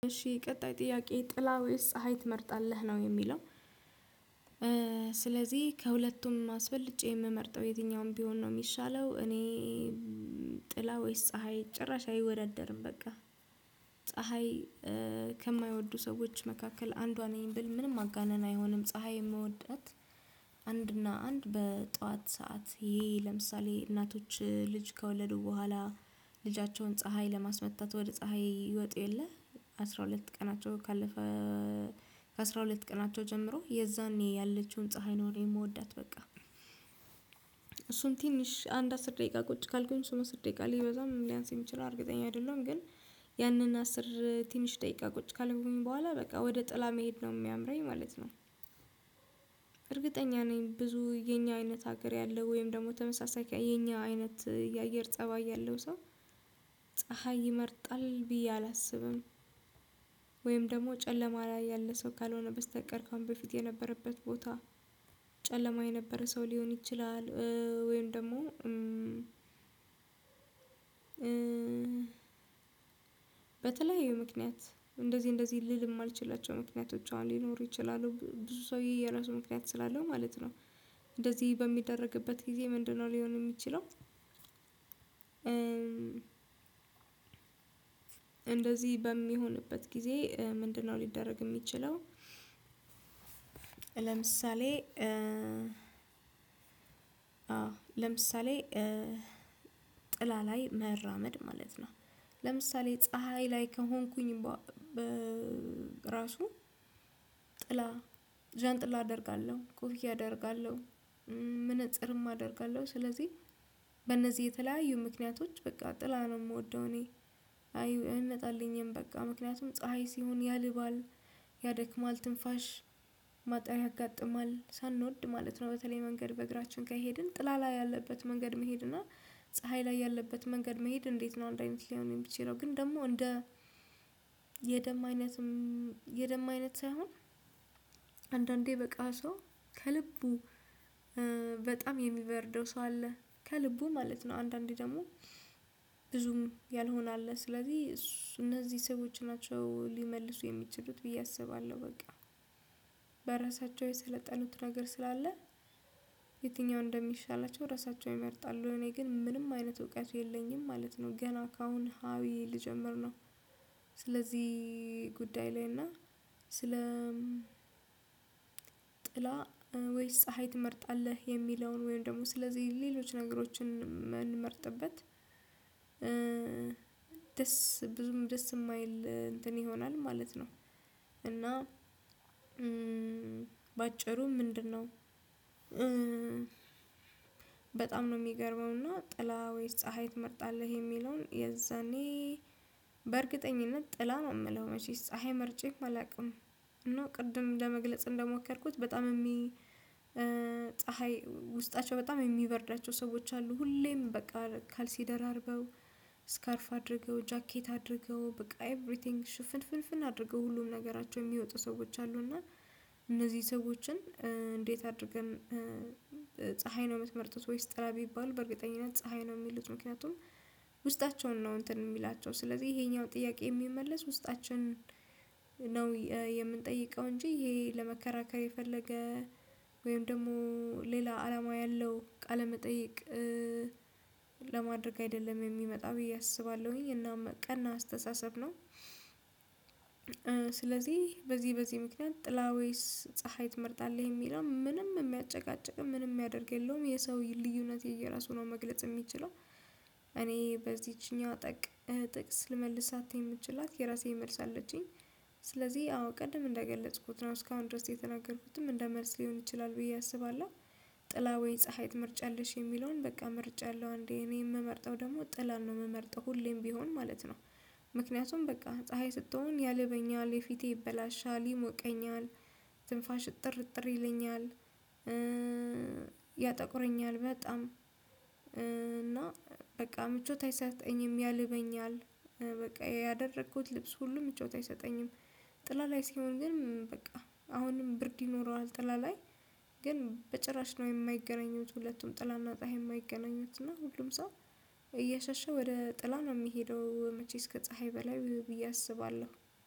እሺ ቀጣይ ጥያቄ ጥላ ወይስ ፀሀይ ትመርጣለህ ነው የሚለው? ስለዚህ ከሁለቱም አስበልጬ የምመርጠው የትኛውም ቢሆን ነው የሚሻለው። እኔ ጥላ ወይስ ፀሀይ ጭራሽ አይወደደርም በቃ ፀሀይ ከማይወዱ ሰዎች መካከል አንዷ ነኝ ብል ምንም ማጋነን አይሆንም። ፀሀይ የምወዳት አንድና አንድ በጠዋት ሰዓት ይሄ ለምሳሌ እናቶች ልጅ ከወለዱ በኋላ ልጃቸውን ፀሀይ ለማስመታት ወደ ፀሀይ ይወጡ የለ አስራ ሁለት ቀናቸው ካለፈ ከአስራ ሁለት ቀናቸው ጀምሮ የዛኔ ያለችውን ፀሀይ ነው የምወዳት። በቃ እሱን ትንሽ አንድ አስር ደቂቃ ቁጭ ካልኩኝ እሱን ትንሽ አንድ አስር ደቂቃ ቁጭ ካልኩኝ እሱን ትንሽ አንድ አስር ደቂቃ ሊበዛም ሊያንስም ይችለል እርግጠኛ አይደለም ግን ያንን አስር ትንሽ ደቂቃ ቁጭ ካልኩኝ በኋላ በቃ ወደ ጥላ መሄድ ነው የሚያምረኝ ማለት ነው። እርግጠኛ ነኝ ብዙ የኛ አይነት ሀገር ያለ ወይም ደግሞ ተመሳሳይ የኛ አይነት የአየር ፀባይ ያለው ሰው ፀሀይ ይመርጣል ብዬ አላስብም። ወይም ደግሞ ጨለማ ላይ ያለ ሰው ካልሆነ በስተቀር ከአሁን በፊት የነበረበት ቦታ ጨለማ የነበረ ሰው ሊሆን ይችላል። ወይም ደግሞ በተለያዩ ምክንያት እንደዚህ እንደዚህ ልም ማልችላቸው ምክንያቶች አሁን ሊኖሩ ይችላሉ ብዙ ሰው የየራሱ ምክንያት ስላለው ማለት ነው። እንደዚህ በሚደረግበት ጊዜ ምንድነው ሊሆን የሚችለው? እንደዚህ በሚሆንበት ጊዜ ምንድነው ሊደረግ የሚችለው? ለምሳሌ ለምሳሌ ጥላ ላይ መራመድ ማለት ነው። ለምሳሌ ፀሀይ ላይ ከሆንኩኝ በራሱ ጥላ ዣንጥላ አደርጋለሁ ኮፊያ አደርጋለሁ መነጽርም አደርጋለሁ ስለዚህ በእነዚህ የተለያዩ ምክንያቶች በቃ ጥላ ነው የምወደው እኔ አዩ አይጣልኝም በቃ ምክንያቱም ፀሀይ ሲሆን ያልባል ያደክማል ትንፋሽ ማጣሪ ያጋጥማል ሳንወድ ማለት ነው። በተለይ መንገድ በእግራችን ከሄድን ጥላ ላይ ያለበት መንገድ መሄድ እና ፀሀይ ላይ ያለበት መንገድ መሄድ እንዴት ነው? አንድ አይነት ሊሆን የምችለው ግን ደግሞ እንደ የደም አይነት ሳይሆን አንዳንዴ በቃ ሰው ከልቡ በጣም የሚበርደው ሰው አለ ከልቡ ማለት ነው። አንዳንዴ ደግሞ ብዙም ያልሆነ አለ ስለዚህ እነዚህ ሰዎች ናቸው ሊመልሱ የሚችሉት ብዬ አስባለሁ። በቃ በራሳቸው የሰለጠኑት ነገር ስላለ የትኛው እንደሚሻላቸው ራሳቸውን ይመርጣሉ እኔ ግን ምንም አይነት እውቀት የለኝም ማለት ነው። ገና ካአሁን ሀ ብዬ ልጀምር ነው። ስለዚህ ጉዳይ ላይ እና ስለ ጥላ ወይስ ፀሀይ ትመርጣለህ የሚለውን ወይም ደግሞ ስለዚህ ሌሎች ነገሮችን የምንመርጥበት ደስ ብዙም ደስ የማይል እንትን ይሆናል ማለት ነው። እና በአጭሩ ምንድነው? በጣም ነው የሚገርመው እና ጥላ ወይስ ፀሀይ ትመርጣለህ የሚለውን የዛኔ በእርግጠኝነት ጥላ ነው የምለው መቼስ ፀሀይ መርጬ አላቅም። እና ቅድም ለመግለጽ እንደሞከርኩት በጣም የሚ ፀሀይ ውስጣቸው በጣም የሚበርዳቸው ሰዎች አሉ ሁሌም በቃ ካልሲ ደራርበው ስካርፍ አድርገው ጃኬት አድርገው በቃ ኤቭሪቲንግ ሽፍን ፍን አድርገው ሁሉም ነገራቸው የሚወጡ ሰዎች አሉና እነዚህ ሰዎችን እንዴት አድርገን ፀሀይ ነው የምትመርጡት ወይስ ጥላ ቢባል በእርግጠኝነት ፀሀይ ነው የሚሉት። ምክንያቱም ውስጣቸውን ነው እንትን የሚላቸው ስለዚህ ይሄኛው ጥያቄ የሚመለስ ውስጣችን ነው የምንጠይቀው እንጂ ይሄ ለመከራከር የፈለገ ወይም ደግሞ ሌላ አላማ ያለው ቃለ መጠየቅ ለማድረግ አይደለም የሚመጣ ብዬ አስባለሁኝ እና ቀና አስተሳሰብ ነው። ስለዚህ በዚህ በዚህ ምክንያት ጥላ ወይስ ፀሀይ ትመርጣለህ የሚለው ምንም የሚያጨቃጭቅ ምንም የሚያደርግ የለውም። የሰው ልዩነት የየራሱ ነው መግለጽ የሚችለው እኔ በዚችኛው ጠቅ ጥቅስ ልመልሳት የምችላት የራሴን መልስ አለችኝ ስለዚህ አዎ ቀደም እንደገለጽኩት ነው እስካሁን ድረስ የተናገርኩትም እንደ መልስ ሊሆን ይችላል ብዬ አስባለሁ። ጥላ ወይ ፀሀይ ትመርጫለሽ የሚለውን በቃ መርጫለው አንዴ እኔ የምመርጠው ደግሞ ጥላን ነው የምመርጠው ሁሌም ቢሆን ማለት ነው። ምክንያቱም በቃ ፀሀይ ስትሆን ያልበኛል የፊቴ ይበላሻል ይሞቀኛል ትንፋሽ እጥርእጥር ይለኛል ያጠቁረኛል በጣም እና በቃ ምቾት አይሰጠኝም ያልበኛል በቃ ያደረኩት ልብስ ሁሉም ምቾት አይሰጠኝም። ጥላ ላይ ሲሆን ግን በቃ አሁንም ብርድ ይኖረዋል ጥላ ላይ ግን በጭራሽ ነው የማይገናኙት ሁለቱም ጥላና ፀሀይ የማይገናኙት እና ሁሉም ሰው እየሻሸ ወደ ጥላ ነው የሚሄደው መቼ ከፀሀይ በላይ ብዬ አስባለሁ።